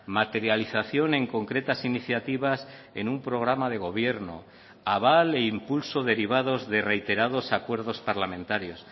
materialización en concretas iniciativas en un programa de gobierno aval e impulso derivados de reiterados acuerdos parlamentarios